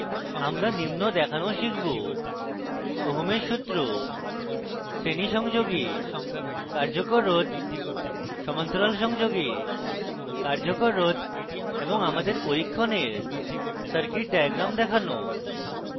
আমরা নিম্ন দেখানোও শিখব